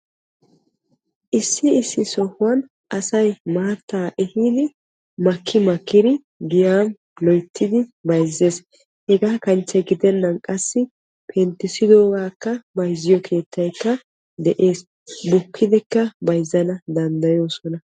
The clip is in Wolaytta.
issi issi sohuwan asay maata ehiidi makki makkidi bayzzees. hegaa kanchche gidenan qassi penttisidogakka bayzziyo keettaykka de'ees. bukkidikka bayzzana danddayoosona.